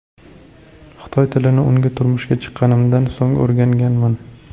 Xitoy tilini unga turmushga chiqqanimdan so‘ng o‘rganganman.